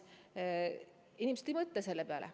Inimesed ei mõtle selle peale.